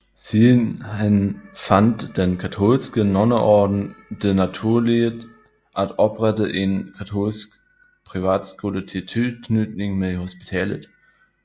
Siden hen fandt den katolske nonneorden det naturligt at oprette en katolsk privatskole i tilknytning med hospitalet